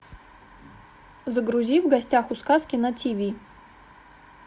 загрузи в гостях у сказки на ти ви